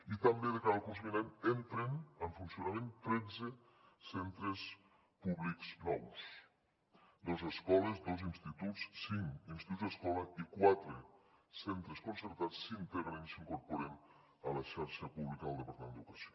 i també de cara al curs vinent entren en funcionament tretze centres públics nous dos escoles dos instituts cinc instituts escola i quatre centres concertats s’integren s’incorporen a la xarxa pública del departament d’educació